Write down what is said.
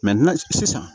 sisan